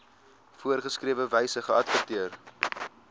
voorgeskrewe wyse geadverteer